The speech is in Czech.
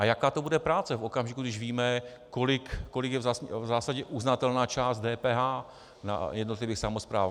A jaká to bude práce v okamžiku, když víme, kolik je v zásadě uznatelná část DPH na jednotlivých samosprávách.